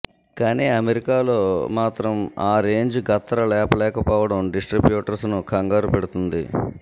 కానీ అమెరికా లో మాత్రం ఆ రేంజ్ గత్తరలేపలేకపోవడం డిస్ట్రబ్యూటర్స్ ను ఖంగారు పెడుతుంది